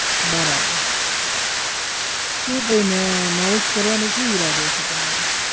બરાબર શુ ભાઈ મે marriage કરવાનો શુ ઈરાદો છે તમારે?